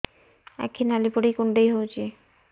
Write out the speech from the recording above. ଆଖି ନାଲି ପଡିକି କୁଣ୍ଡେଇ ହଉଛି